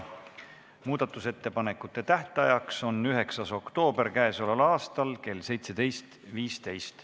Muudatusettepanekute tähtaeg on 9. oktoober k.a kell 17.15.